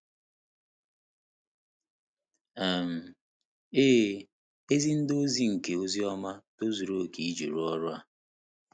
um Ee, ezi ndị ozi nke ozi ọma tozuru oke iji rụọ ọrụ a.